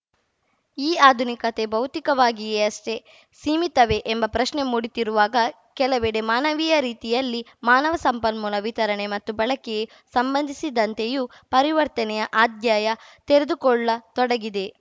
ಈ ಆಧುನಿಕತೆ ಭೌತಿಕವಾಗಿಯಷ್ಟೇ ಸೀಮಿತವೇ ಎಂಬ ಪ್ರಶ್ನೆ ಮೂಡುತ್ತಿರುವಾಗ ಕೆಲವೆಡೆ ಮಾನವೀಯ ರೀತಿಯಲ್ಲಿ ಮಾನವ ಸಂಪನ್ಮೂಲ ವಿತರಣೆ ಮತ್ತು ಬಳಕೆ ಸಂಬಂಧಿಸಿದಂತೆಯೂ ಪರಿವರ್ತನೆಯ ಆಧ್ಯಾಯ ತೆರೆದುಕೊಳ್ಳತೊಡಗಿದೆ